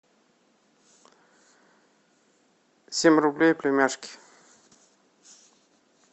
семь рублей племяшке